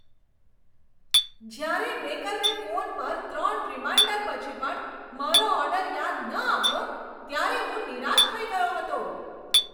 જ્યારે બેકરને ફોન પર ત્રણ રીમાઈન્ડર પછી પણ મારો ઓર્ડર યાદ ન આવ્યો ત્યારે હું નિરાશ થઈ ગયો હતો.